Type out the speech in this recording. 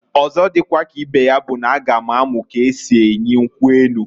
Ọzo dikwa ka ibe ya bụ n'a ga m amu k'esi enyi nkwu enu.